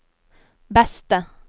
beste